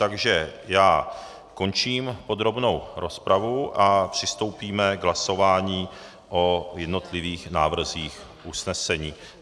Takže já končím podrobnou rozpravu a přistoupíme k hlasování o jednotlivých návrzích usnesení.